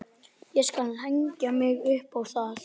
Ég skal hengja mig upp á það!